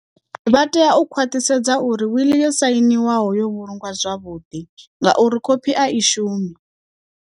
Vha tea u khwaṱhisedza uri wiḽi yo sainiwaho yo vhulungwa zwavhuḓi, ngauri khophi a i shumi.